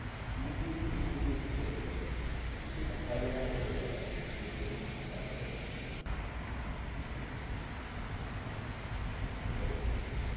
দু ডিগ্রি তিন ডিগ্রি অবধি চলে যায়, কিছু দেখা যায় না ভোর বেলা যদি এরকম ঠান্ডা পরে দাদা যান, তাহলে কিছু ঠান্ডাই পড়েনা।